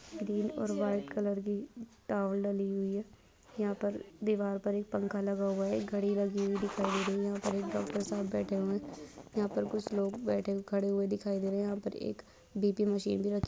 Green और white colour की towel डाली हुई है यहाँ पर दीवार पर एक पंख लगा हुआ है घड़ी लगी हुई दिखाई दे रही है यहाँ पर एक डॉक्टर साहब बैठे हुए हैं यहाँ पर कुछ लोग बैठे खड़े दिखाई दे रहे हैं। यहाँ पर एक बी_पी मशीन-- भी रखी हुई--